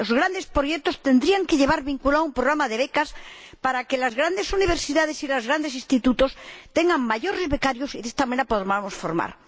Los grandes proyectos tendrían que llevar vinculado un programa de becas para que las grandes universidades y los grandes institutos tengan más becarios y de esta manera los podamos formar.